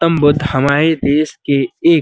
गौतम बुद्ध हमारे देश के एक --